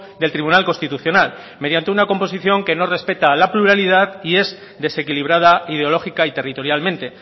del tribunal constitucional mediante una composición que no respeta la pluralidad y es desequilibrada ideológica y territorialmente